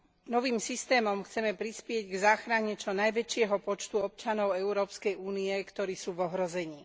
Novým systémom chceme prispieť k záchrane čo najväčšieho počtu občanov Európskej únie, ktorí sú v ohrození.